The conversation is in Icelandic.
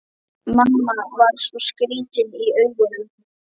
Mamma var svo skrýtin í augunum.